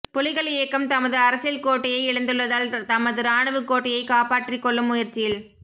புலிகள் இயக்கம் தமது அரசியல் கோட்டையை இழந்துள்ளதால் தமது இராணுவக் கோட்டையைக் காப்பாற்றிக்கொள்ளும் முயற்சியில்